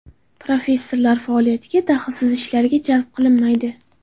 Professorlar faoliyatiga dahlsiz ishlarga jalb qilinmaydi.